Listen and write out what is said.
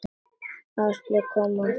Áslaug kom eftir hádegi.